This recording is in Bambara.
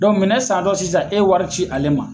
minɛn santɔ sisan e wari ci ale ma